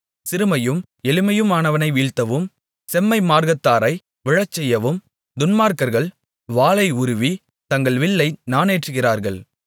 சிறுமையும் எளிமையுமானவனை வீழ்த்தவும் செம்மை மார்க்கத்தாரை விழசெய்யவும் துன்மார்க்கர்கள் வாளை உருவி தங்கள் வில்லை நாணேற்றுகிறார்கள்